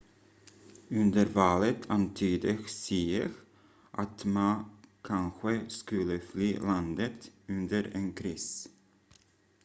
under valet antydde hsieh att ma kanske skulle fly landet under en kris